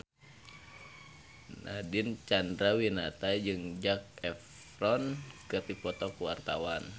Nadine Chandrawinata jeung Zac Efron keur dipoto ku wartawan